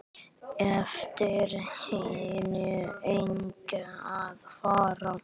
Eftir henni eigi að fara.